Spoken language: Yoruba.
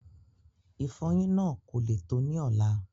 Ìfọyín náà kò le tó ní ọ̀la